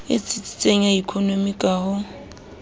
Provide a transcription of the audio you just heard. tsitsitseng ya ekonomi ka ho